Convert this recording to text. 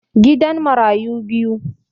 Gidan marayu biyu